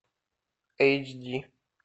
эйч ди